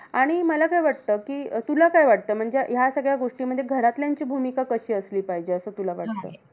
आणि मला काय वाटतं, कि तुला काय वाटतं म्हणजे ह्या सगळ्या गोष्टींमध्ये घरातल्यांची भूमिका कशी असली पाहिजे. असं तुला वाटतं.